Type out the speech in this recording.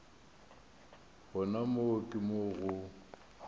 gona moo ke mo go